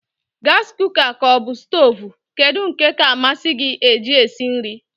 Gasi kuka ka ọbụ stoovu, kedụ nke ka amasị gị e ji sie nri?